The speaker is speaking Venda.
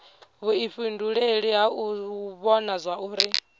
vhuifhinduleli ha u vhona zwauri